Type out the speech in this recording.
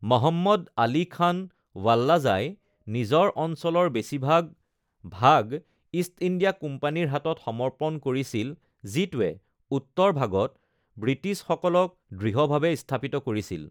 মহম্মদ আলি খান ৱাল্লাজাই নিজৰ অঞ্চলৰ বেছিভাগ ভাগ ইষ্ট ইণ্ডিয়া কোম্পানীৰ হাতত সমৰ্পন কৰিছিল যিটোৱে উত্তৰ ভাগত ব্ৰিটিছসকলক দৃঢ়ভাৱে স্থাপিত কৰিছিল।